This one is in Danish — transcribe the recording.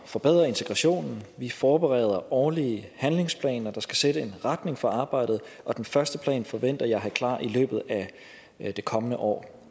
forbedre integrationen vi forbereder årlige handlingsplaner der skal sætte en retning for arbejdet og den første plan forventer jeg at have klar i løbet af det kommende år